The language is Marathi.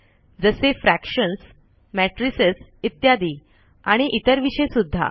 जसे फ्रॅक्शन्स मॅट्रिसेस इत्यादी आणि इतर विषय सुद्धा